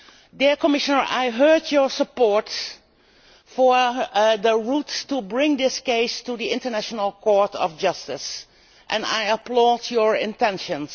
Dear Commissioner, I heard your support for the routes for bringing this case to the International Court of Justice, and I applaud your intentions.